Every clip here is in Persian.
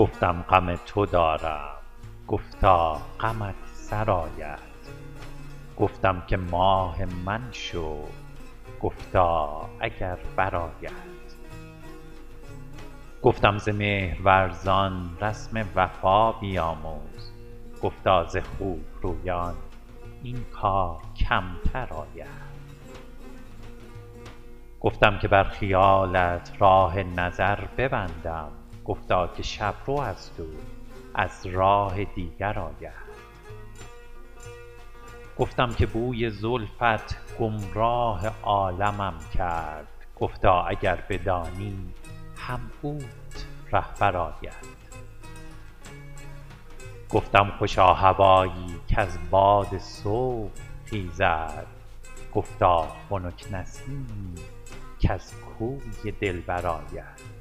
گفتم غم تو دارم گفتا غمت سرآید گفتم که ماه من شو گفتا اگر برآید گفتم ز مهرورزان رسم وفا بیاموز گفتا ز خوب رویان این کار کمتر آید گفتم که بر خیالت راه نظر ببندم گفتا که شب رو است او از راه دیگر آید گفتم که بوی زلفت گمراه عالمم کرد گفتا اگر بدانی هم اوت رهبر آید گفتم خوشا هوایی کز باد صبح خیزد گفتا خنک نسیمی کز کوی دلبر آید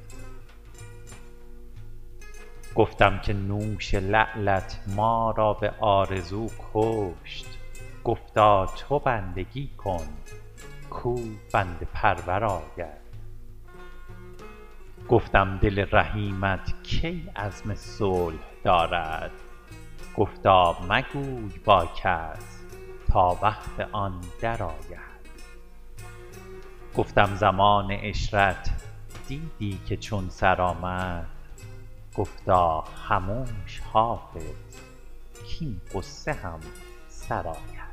گفتم که نوش لعلت ما را به آرزو کشت گفتا تو بندگی کن کاو بنده پرور آید گفتم دل رحیمت کی عزم صلح دارد گفتا مگوی با کس تا وقت آن درآید گفتم زمان عشرت دیدی که چون سر آمد گفتا خموش حافظ کـاین غصه هم سر آید